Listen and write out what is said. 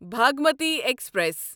Bhagmati express